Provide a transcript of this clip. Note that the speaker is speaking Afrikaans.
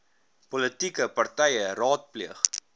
politieke partye raadpleeg